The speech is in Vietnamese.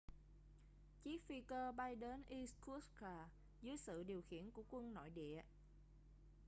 chiếc phi cơ bay đến irkutsk dưới sự điều khiển của quân nội địa